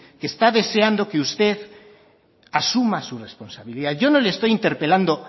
que está deseando que usted asuma su responsabilidad yo no le estoy interpelando